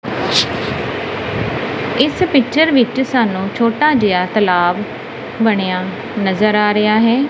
ਇਸ ਪਿਕਚਰ ਵਿੱਚ ਸਾਨੂੰ ਛੋਟਾ ਜਿਹਾ ਤਲਾਬ ਬਣਿਆ ਨਜਰ ਆ ਰਿਹਾ ਹੈ।